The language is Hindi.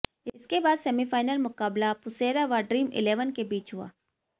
इसके बाद सेमीफाइनल मुकाबला पुसेरा व ड्रीम इलेवन के बीच हुआ